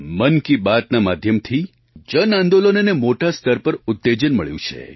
મન કી બાતના માધ્યમથી જન આંદોલનોને મોટા સ્તર પર ઉત્તેજન મળ્યું છે